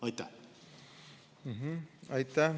Aitäh!